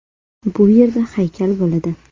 Bu yerda haykal bo‘ladi.